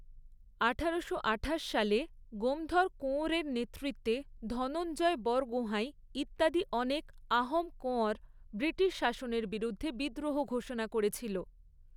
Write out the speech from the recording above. আঠারোশো আঠাশ সালে গোমধর কোঁয়রের নেতৃত্বে ধনঞ্জয় বরগোহাঁই ইত্যাদি অনেক আহোম কোঁয়র ব্রিটিশ শাসনের বিরুদ্ধে বিদ্রোহ ঘোষণা করেছিল।